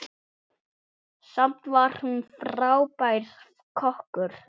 Samt var hún frábær kokkur.